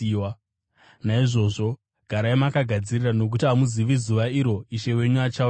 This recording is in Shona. “Naizvozvo, garai makagadzirira nokuti hamuzivi zuva iro Ishe wenyu achauya naro.